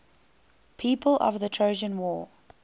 people of the trojan war